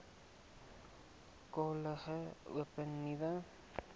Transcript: kollege open nuwe